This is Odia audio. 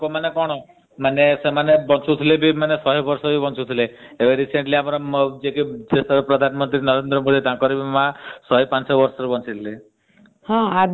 ଆଗକାଳିଆ ଲୋକ କଣ ମାନେ ସେମାନେ ବଞ୍ଚୁଥିଲେ ଶହେ ବର୍ଷ ବି ବଞ୍ଚୁଥିଲେ ଏବେ recently ଆମ ଦେଶର ପ୍ରଧାନମନ୍ତ୍ରୀ ନରେନ୍ଦ୍ର ମୋଦୀ ତାଙ୍କର ମା ଶହେ ପାଞ୍ଚ ବର୍ଷ ବଞ୍ଚିଥିଲେ।